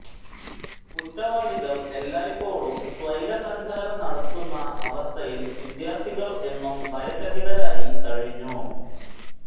കുറ്റവാളികൾ എല്ലായ്പ്പോഴും സ്വൈരസഞ്ചാരം നടത്തുന്ന അവസ്ഥയിൽ വിദ്യാർത്ഥികൾ എന്നും ഭയചകിതരായി കഴിഞ്ഞു